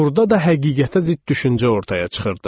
Burda da həqiqətə zidd düşüncə ortaya çıxırdı.